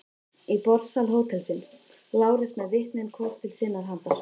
Í borðsal hótelsins: Lárus með vitnin hvort til sinnar handar.